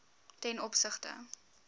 ten opsigte